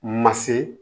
Ma se